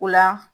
O la